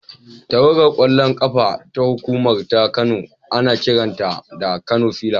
Tawagar ƙwallon ƙafa ta hukuma ta Kano ana kiranta da Kano fillars.